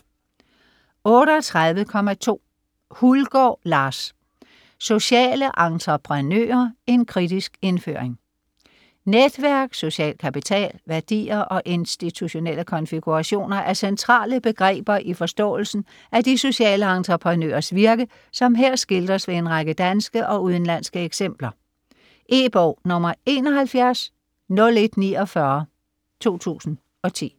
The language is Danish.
38.2 Hulgård, Lars: Sociale entreprenører: en kritisk indføring Netværk, social kapital, værdier og institutielle konfigurationer er centrale begreber i forståelsen af de sociale entreprenøres virke, som her skildres ved en række danske og udenlandske eksempler. E-bog 710149 2010.